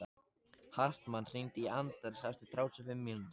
Hartmann, hringdu í Anders eftir þrjátíu og fimm mínútur.